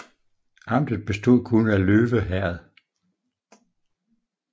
Amtet bestod kun af Løve Herred